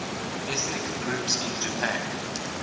ethnic groups in japan